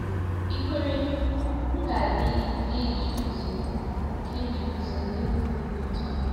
Ìkwere m ga-adị ike iji guzo ike iji guzo n’ihu ule dị otu a?